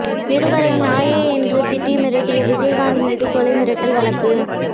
நிருபரை நாயே என்று திட்டி மிரட்டிய விஜயகாந்த் மீது கொலை மிரட்டல் வழக்கு